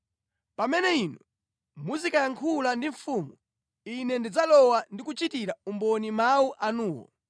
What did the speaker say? Pamene inu muzikayankhula ndi mfumu, ine ndidzalowa ndi kuchitira umboni mawu anuwo.”